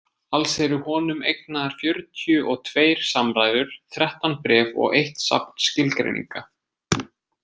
Alls eru honum eignaðar fjörutíu og tveir samræður, þrettán bréf og eitt safn skilgreininga.